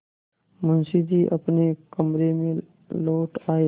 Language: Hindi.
मुंशी जी अपने कमरे में लौट आये